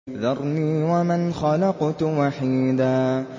ذَرْنِي وَمَنْ خَلَقْتُ وَحِيدًا